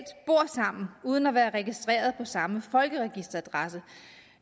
bor sammen uden at være registreret på samme folkeregisteradresse